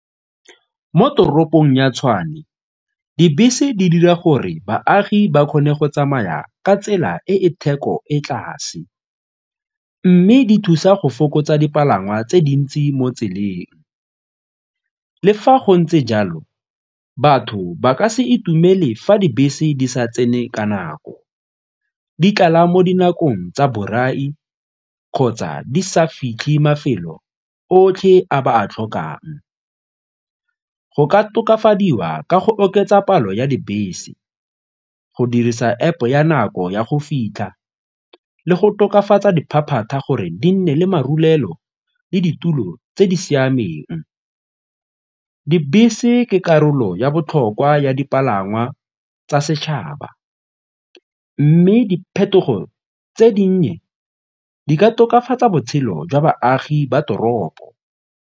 Mo toropong ya Tshwane, dibese di dira gore baagi ba kgone go tsamaya ka tsela e e theko e tlase mme di thusa go fokotsa dipalangwa tse dintsi mo tseleng. Le fa go ntse jalo, batho ba ka se itumele fa dibese di sa tsene ka nako di tlala mo dinakong tsa borai kgotsa di sa fitlhe mafelo otlhe a ba a tlhokang. Go ka tokafadiwa ka go oketsa palo ya dibese go dirisa App-o ya nako ya go fitlha le go tokafatsa diphaphata gore di nne le marulelo le ditulo tse di siameng. Dibese ke karolo ya botlhokwa ya dipalangwa tsa setšhaba mme diphetogo tse dinnye di ka tokafatsa botshelo jwa baagi ba toropo.